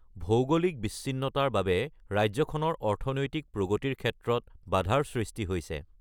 ভৌগোলিক বিচ্ছিন্নতাৰ বাবে ৰাজ্যখনৰ অৰ্থনৈতিক প্ৰগতিৰ ক্ষেত্ৰত বাধাৰ সৃষ্টি হৈছে।